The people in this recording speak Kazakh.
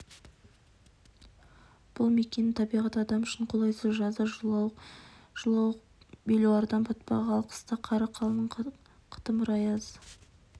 бұл мекеннің табиғаты адам үшін қолайсыз жазы жылауық белуардан батпақ ал қыста қары қалың қытымыр аяз